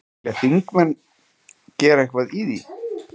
Vilja þingmenn gera eitthvað í því?